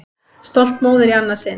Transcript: Stolt móðir í annað sinn.